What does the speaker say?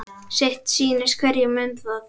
Sitt sýnist hverjum um það.